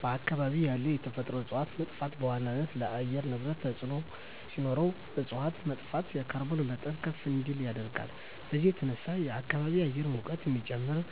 በአካባቢ ያሉ የተፈጥሮ እፀዋት መጥፋት በዋናነት ለአየር ንብረት ተፅዕኖ ሲኖረው እፅዋት መጥፋት የካርቦን መጠን ከፍ እንዲል ያደርጋል። በዚህም የተነሳ የከባቢ አየር ሙቀት እንዲጨምር እና